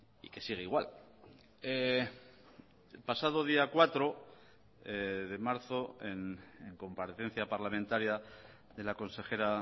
y que sigue igual el pasado día cuatro de marzo en comparecencia parlamentaria de la consejera